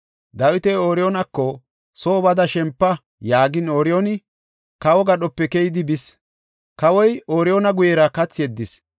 Dawiti Ooriyoonako, “Soo bada shempa” yaagin, Ooriyooni kawo gadhope keyidi bis. Kawoy Ooriyoona guyera kathi yeddis.